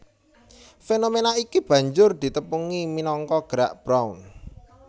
Fénoména iki banjur ditepungi minangka Gerak Brown